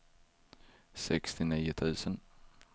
sextionio tusen